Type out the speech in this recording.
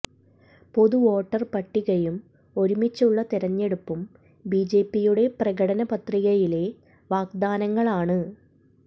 പൊതു വോട്ടർ പട്ടികയും ഒരുമിച്ചുള്ള തിരഞ്ഞെടുപ്പും ബിജെപിയുടെ പ്രകടനപത്രികയിലെ വാഗ്ദാനങ്ങളാണ്